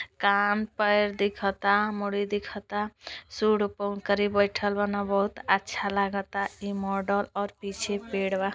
कान पर दिखता मुड़ी दिखता सूड़ पे ओकरे बइठल बाना बहुत अच्छा लगता ई मॉडल और पीछे पेड़ बा।